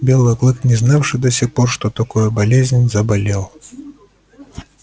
белый клык не знавший до сих пор что такое болезнь заболел